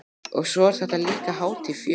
Og svo er þetta líka hátíð fjöl